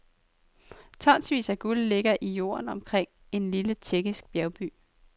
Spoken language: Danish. Tonsvis af guld ligger i jorden omkring en lille tjekkisk bjergby.